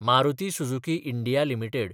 Maruti Suzuki India limited